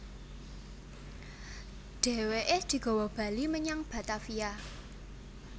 Dhèwèké digawa bali menyang Batavia